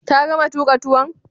Ta gama tuka tuwon?